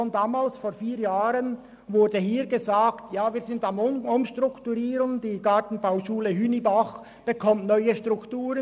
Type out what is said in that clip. Schon damals, vor vier Jahren, wurde hier gesagt, man sei am Umstrukturieren, und die Gartenbauschule Hünibach erhalte eine neue Struktur.